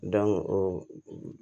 o